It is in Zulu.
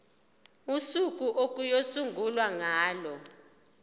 usuku okuyosungulwa ngalo